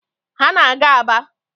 Ha na-aga Aba.